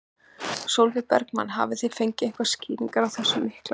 Sólveig Bergmann: Hafið þið fengið einhverjar skýringar á þessum mikla mun?